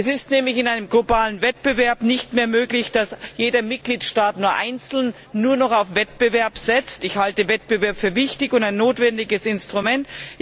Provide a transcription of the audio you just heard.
Es ist nämlich in einem globalen Wettbewerb nicht mehr möglich, dass jeder Mitgliedstaat für sich nur noch auf Wettbewerb setzt. Ich halte Wettbewerb für wichtig und für ein notwendiges Instrument.